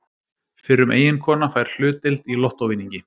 Fyrrum eiginkona fær hlutdeild í lottóvinningi